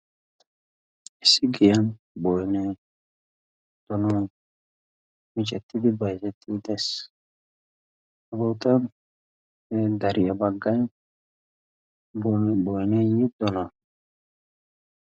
issi giyan bon donon micettidi baitetti utees. abootan ne dariya baggan boyneeyyi dono